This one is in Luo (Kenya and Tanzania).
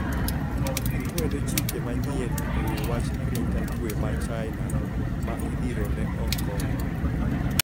Gikwedo chike manyien e wi wach arita kwe ma China ma idhirone Hong Kong